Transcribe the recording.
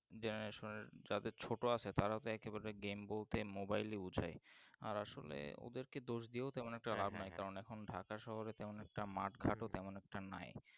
Generation এর যাদের ছোটো আছে তারা তো একেবারে Game বলতে Mobile ই বোঝাই আর আসলে ওদেরকে দোষ দিয়ে তেমন একটা নাই কারণ এখন ঢাকা শহরে তেমন একটা মাঠ ঘাট ও তেমন একটা নাই